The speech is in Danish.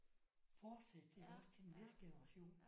Fortsætte iggås til den næste generation